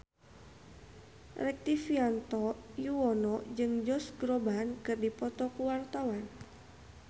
Rektivianto Yoewono jeung Josh Groban keur dipoto ku wartawan